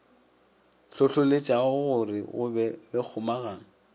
hlohloletšagore go be le kgomagano